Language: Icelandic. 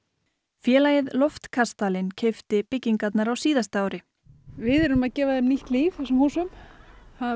félagið loftkastalinn keypti byggingarnar á síðasta ári við erum að gefa þeim nýtt líf þessum húsum það